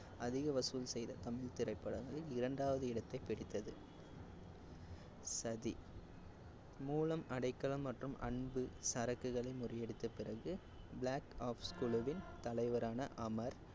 அதிக வசூல் செய்த தமிழ் திரைப்படம் வந்து இரண்டாவது இடத்தை பிடித்தது. சதி மூலம் அடைக்கலம் மற்றும் அன்பு சரக்குகளை முறியடித்த பிறகு black ops கருப்பு-ஒப்ஸ் குழுவின் தலைவரான அமர்,